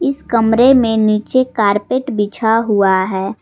इस कमरे में नीचे कारपेट बिछा हुआ है।